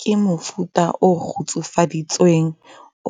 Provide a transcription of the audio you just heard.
Ke mofuta o kgutsufaditsweng,